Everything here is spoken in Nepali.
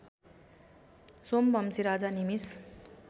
सोमवंशी राजा निमिष